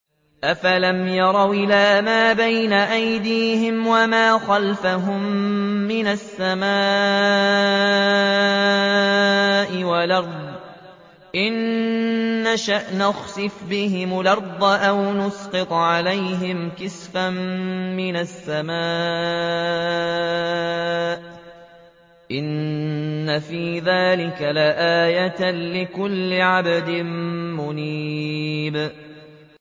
أَفَلَمْ يَرَوْا إِلَىٰ مَا بَيْنَ أَيْدِيهِمْ وَمَا خَلْفَهُم مِّنَ السَّمَاءِ وَالْأَرْضِ ۚ إِن نَّشَأْ نَخْسِفْ بِهِمُ الْأَرْضَ أَوْ نُسْقِطْ عَلَيْهِمْ كِسَفًا مِّنَ السَّمَاءِ ۚ إِنَّ فِي ذَٰلِكَ لَآيَةً لِّكُلِّ عَبْدٍ مُّنِيبٍ